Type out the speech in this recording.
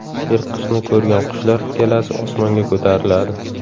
Yirtqichni ko‘rgan qushlar galasi osmonga ko‘tariladi.